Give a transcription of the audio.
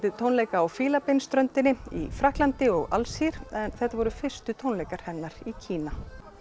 tónleika á Fílabeinsströndinni í Frakklandi og Alsír en þetta voru fyrstu tónleikar hennar í Kína